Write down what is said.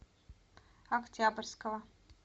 октябрьского